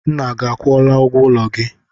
Nna gị akwụọla ụgwọ ụlọ gị?